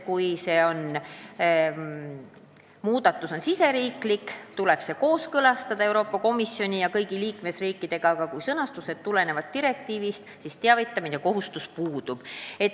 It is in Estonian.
Kui see muudatus on riigisisene, tuleb see kooskõlastada Euroopa Komisjoni ja kõigi liikmesriikidega, aga kui muudatused tulenevad direktiivist, siis teavitamise kohustus puudub.